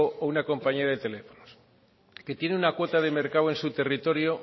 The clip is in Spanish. o una compañía de teléfonos que tiene una cuota de mercado en su territorio